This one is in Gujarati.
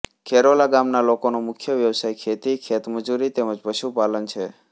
ખેરોલા ગામના લોકોનો મુખ્ય વ્યવસાય ખેતી ખેતમજૂરી તેમ જ પશુપાલન છે